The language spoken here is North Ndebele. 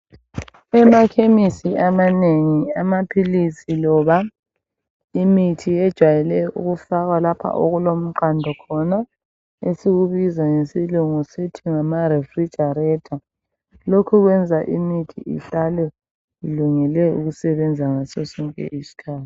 Emakhemesi amanengi amaphilisi loba imithi yejwayele ukufakwa lapha okulomqando khona esikubiza ngesilungu sithi ngama refridgerator. Lokhu kwenza imithi ihlale ilungele ukusebenza ngaso sonke isikhathi